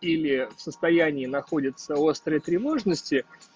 или в состоянии находятся острой тревожности